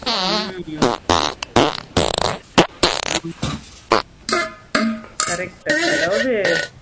ஹம் ஆமா அப்போ இத இதுல இருந்து தப்பிச்சிடலாம். இந்த மாதிரி influence ஆகம தப்பிச்சிக்கலாம். correct உ அதாவது